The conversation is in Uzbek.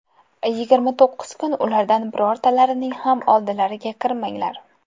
Yigirma to‘qqiz kun ulardan birortalarining ham oldilariga kirmaganlar.